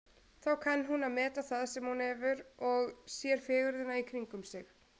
Þá kann hún að meta það sem hún hefur og sér fegurðina í kringum sig.